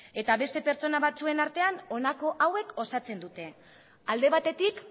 eta beste pertsona batzuen artean honako hauek osatzen dute alde batetik